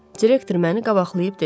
Direktor məni qabaqlayıb dedi.